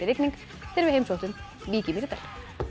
rigning þegar við heimsóttum Vík í Mýrdal